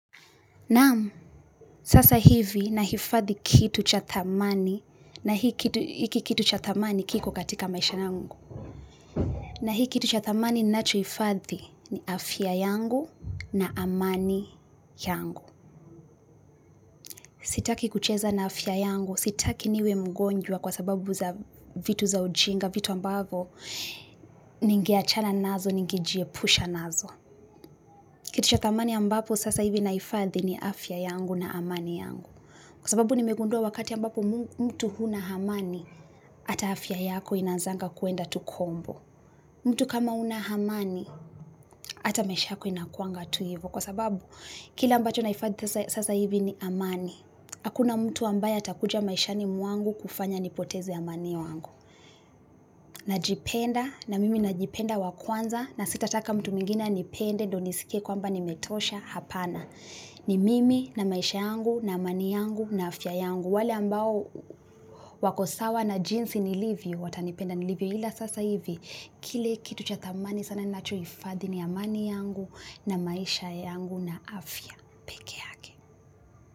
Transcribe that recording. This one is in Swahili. Naam, sasa hivi nahifadhi kitu cha dhamani, na hiki kitu cha dhamani kiko katika maisha yangu. Na hiki kitu cha dhamani ninachohifadhi ni afya yangu na amani yangu. Sitaki kucheza na afya yangu, sitaki niwe mgonjwa kwa sababu za vitu za ujinga, vitu ambavyo, ningeachana nazo, ningejiepusha nazo. Kitu cha dhamani ambapo sasa hivi nahifadhi ni afya yangu na amani yangu. Kwa sababu nimegundua wakati ambapo mtu huna amani, hata afya yako inaanzanga kuenda tu kombo. Mtu kama huna amani, hata maisha yako inakuanga tu hivo. Kwa sababu kila ambacho nahifadhisasa hivi ni amani. Hakuna mtu ambaye atakuja maishani mwangu kufanya nipoteze amani wangu. Najipenda, na mimi najipenda wa kwanza, na sitataka mtu mwingine anipende, ndio nisikie kwamba nimetosha hapana. Ni mimi na maisha yangu, na amani yangu, na afya yangu. Wale ambao wako sawa na jinsi nilivyo watanipenda nilivyo ila sasa hivi kile kitu cha dhamani sana ninachohifadhi ni amani yangu na maisha yangu na afya peke yake.